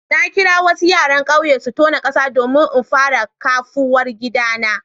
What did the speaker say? Na kira wasu yaran kauye su tona kasa domin in fara kafuwar gidana.